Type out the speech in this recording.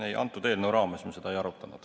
Ei, selle eelnõu raames me seda ei arutanud.